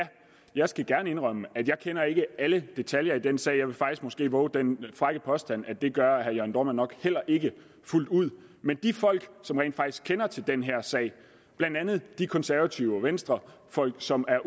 jeg skal gerne indrømme at jeg ikke kender alle detaljer i den sag jeg vil faktisk måske også vove den frække påstand at det gør herre jørn dohrmann nok heller ikke fuldt ud men de folk som rent faktisk kender til den her sag blandt andet de konservative og venstrefolk som er